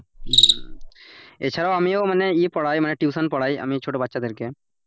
হম এছাড়া আমিও মানে ইয়ে পড়াই মানে tuition পড়াই আমি ছোট বাচ্চাদের কে,